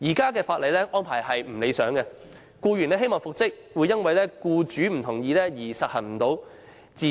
現行法例的安排並不理想，即使僱員希望復職，也會因為僱主不同意而不能復職。